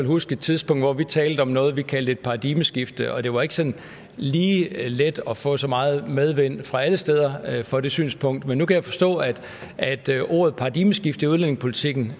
huske et tidspunkt hvor vi talte om noget vi kaldte et paradigmeskifte og det var ikke sådan lige let at få så meget medvind fra alle steder for det synspunkt men nu kan jeg forstå at ordet paradigmeskifte i udlændingepolitikken